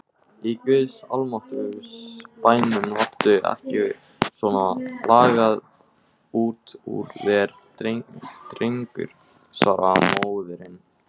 Í guðs almáttugs bænum láttu ekki svona lagað út úr þér drengur, svaraði móðirin.